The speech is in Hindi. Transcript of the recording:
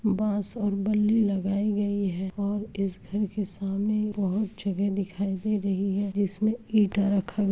बाँस और बल्ली लगाई गई है और इस घर के सामने बहुत जगह दिखाई दे रही है जिसमे ईंटा रखा --